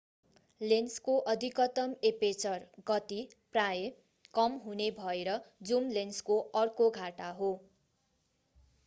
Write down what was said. लेन्सको अधिकतम एपेचर गति प्रायः कम हुने भएर जुम लेन्सको अर्को घाटा हो।